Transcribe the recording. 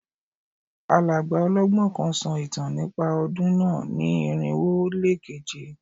Alàgbà ọlọ́gbọ́n kan sọ ìtàn nípa ọdún náà ní irinwo ó lé keje